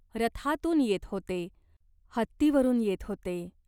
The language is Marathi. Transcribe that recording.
रथांतून येत होते. हत्तीवरून येत होते.